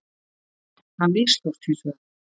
Það mistókst hins vegar.